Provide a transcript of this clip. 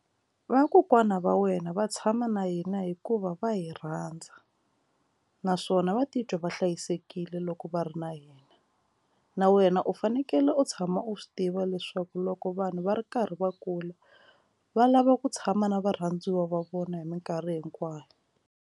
Vakokwana va wena va tshama na hina hikuva va hi rhandza naswona va titwa va hlayisekile loko va ri na yena na wena u fanekele u tshama u swi tiva leswaku loko vanhu va ri karhi va kula va lava ku tshama na varhandziwa va vona hi minkarhi hinkwayo.